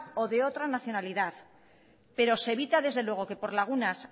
o de otra nacionalidad pero se evita desde luego que por lagunas